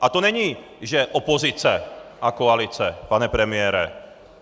A to není, že opozice a koalice, pane premiére.